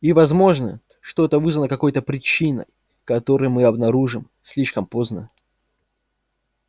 и возможно что это вызвано какой то причиной которую мы обнаружим слишком поздно